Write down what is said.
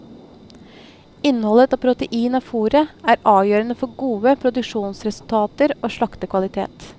Innholdet av protein i fôret er avgjørende for gode produksjonsresultater og slaktekvalitet.